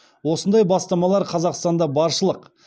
осындай бастамалар қазақстанда баршылық